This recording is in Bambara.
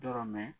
Dɔrɔn mɛ